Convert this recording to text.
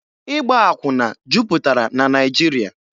Ịgba akwụna jupụtara na Naịjirịa.